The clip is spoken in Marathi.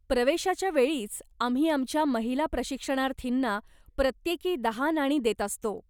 प्रवेशाच्या वेळीच आम्ही आमच्या महिला प्रशिक्षणार्थींना प्रत्येकी दहा नाणी देत असतो.